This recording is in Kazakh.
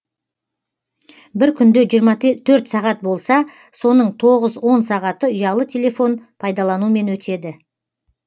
бір күнде жиырма төрт сағат болса соның тоғыз он сағаты ұялы телефон пайдаланумен өтеді